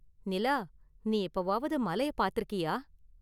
நிலா, நீ எப்போவாவது மலைய பார்த்திருக்கியா?